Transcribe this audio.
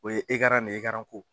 O ye ekaran ne ekaran ko